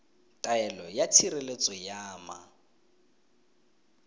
taelo ya tshireletso ya ma